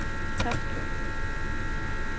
Toftlund